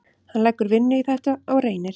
Hann leggur vinnu í þetta og reynir.